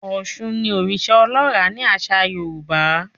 Òshun ní oriṣa ọlọra ni aṣa Yorùbá